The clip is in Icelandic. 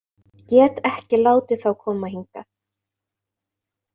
Get ekki látið þá koma hingað.